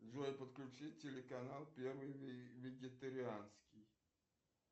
джой подключи телеканал первый вегетарианский